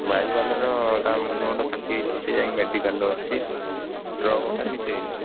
Bike ବାଲାର ତା ମୁଣ୍ଡ ଫୁଣ୍ଡ ଫାଟିଯାଇଛି ସିଏ ଯାଇଁ medical ରେ ଅଛି truck ବାଲା ର କିଛି ହେଇନି